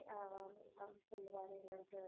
அஹ் அவரு சொல்லுவாரா என்னன்னுட்டு.